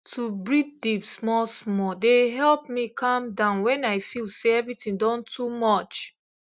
to breathe deep small small dey help me calm down when i feel say everything don too much